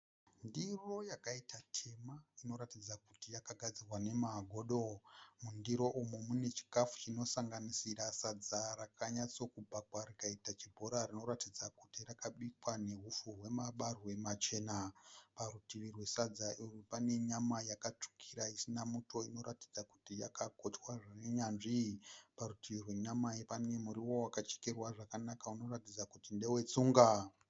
Ndiro yakaita tema inoratidza kuti yakagadzirwa nemagodo. Mundiro umu mune chikafu chinosanganisira sadza rakanyatsakubhakwa rikaita chibhora rinoratidza kuti rakabikwa neupfu hwemabarwe machena. Parutivi rwesadza urwu pane nyama yakatsvukira isina muto inoratidza kuti yakagochwa zvine unyanzvi. Parutivi rwenyama pane muriwo wakachekerwa zvakanaka unoratidza kuti ndewetsunga.